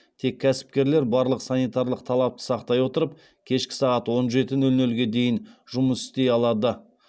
тек кәсіпкерлер барлық санитарлық талапты сақтай отырып кешкі сағат он жеті нөл нөлге дейін жұмыс істей алады